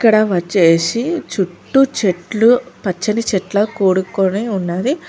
ఇక్కడవచ్చేసి చుట్టూ చెట్లు పచ్చని చెట్ల కూడుకొని ఉన్నది.